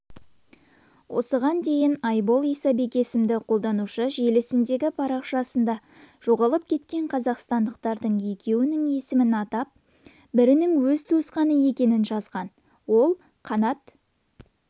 тарихи шешімдер жиып отыр енді тәуелсіз қазақстанның өзінің мемлекеттік символдары яғни айшықты нышандары бар республика